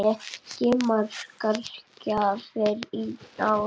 Breki: Margar gjafir í ár?